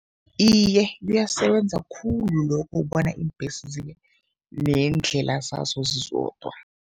Iye, kuyasebenza khulu lokho ukubona iimbesi zibe neendlela zazo zizodwa.